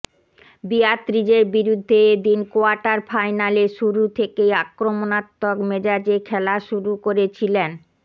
বিয়াত্রিজের বিরুদ্ধে এ দিন কোয়ার্টার ফাইনালে শুরু থেকেই আক্রমণাত্মক মেজাজে খেলা শুরু করেছিলেন